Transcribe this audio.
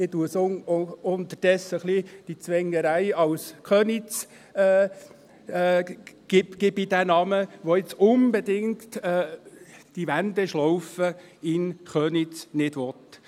Inzwischen nenne ich es «die Zwängerei von Köniz», die die Wendeschlaufe in Köniz um keinen Preis will.